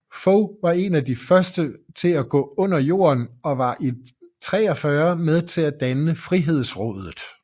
Fog var en af de første til at gå under jorden og var i 43 med til at danne Frihedsrådet